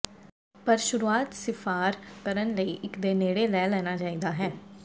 ਪਰ ਸ਼ੁਰੂਆਤ ਿਸਫ਼ਾਰ ਕਰਨ ਲਈ ਇੱਕ ਦੇ ਨੇੜੇ ਲੈ ਲੈਣਾ ਚਾਹੀਦਾ ਹੈ